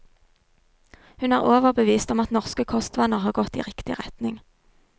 Hun er overbevist om at norske kostvaner har gått i riktig retning.